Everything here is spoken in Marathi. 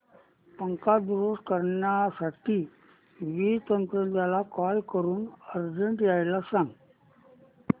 पंखा दुरुस्त करण्यासाठी वीज तंत्रज्ञला कॉल करून अर्जंट यायला सांग